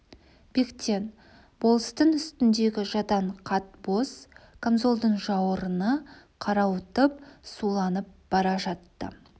бектен болыстың үстіндегі жадаң қат боз камзолдың жауырыны қарауытып суланып бара жатты